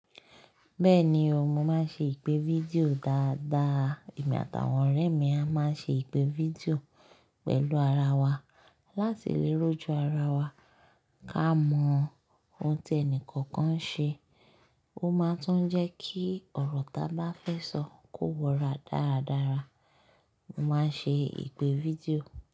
Bẹ́ẹ̀ni o, mo máa ń ṣe ìpè fídíò dáadáa, èmi àtàwọn ọ̀rẹ́ mi a máa ń ṣe ìpè fídíò pẹ̀lú ara wa láti lè rọ́jọ̀ ara wa ká mọ ohun tí ẹni kọ̀ọ̀kan ń ṣe. Ó máa tún ń jẹ́ kí ọ̀rọ̀ ta bá fẹ́ sọ kò wọra dáradára. Mo máa ń ṣe ìpè fídíò.